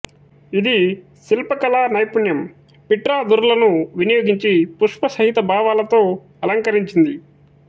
ఇది శిల్ప కళా నైపుణ్యం పిట్రా దురలను వినియోగించి పుష్పసహిత భావాలతో అలంకరించింది